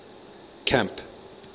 camp